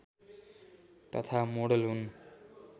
तथा मोडेल हुन्